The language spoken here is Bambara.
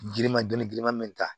Giriman dɔnni girinman bɛ ta